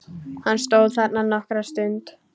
Hann stóð þarna nokkra stund.